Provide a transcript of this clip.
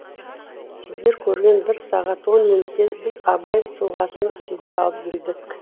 сіздер көрген бір сағат он минутке біз абай тұлғасын сыйдыра білдік